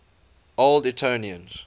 old etonians